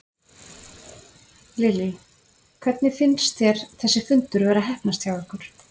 Lillý: Hvernig finnst þér þessi fundur vera að heppnast hjá ykkur?